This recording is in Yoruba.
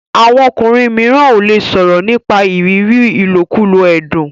àwọn ọkùnrin míràn o le sòrò nípa ìrírí ilokulo ẹdun.